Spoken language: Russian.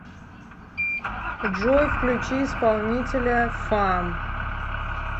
джой включи исполнителя фам